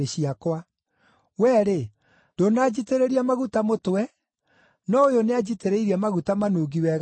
Wee-rĩ, ndũnanjitĩrĩria maguta mũtwe, no ũyũ nĩanjitĩrĩirie maguta manungi wega nyarĩrĩ.